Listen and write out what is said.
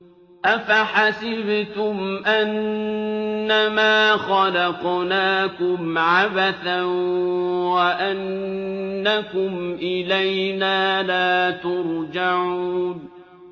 أَفَحَسِبْتُمْ أَنَّمَا خَلَقْنَاكُمْ عَبَثًا وَأَنَّكُمْ إِلَيْنَا لَا تُرْجَعُونَ